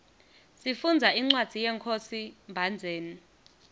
sifundza incwadzi yenkhosi mbhandzeni